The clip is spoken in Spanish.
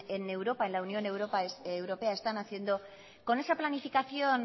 en europa en la unión europea están haciendo con esa planificación